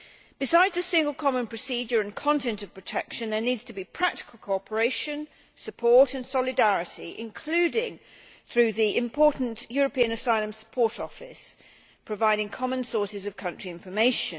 Besides the single common procedure and content of protection, there needs to be practical cooperation, support and solidarity, including through the important European Asylum Support Office, providing common sources of country information.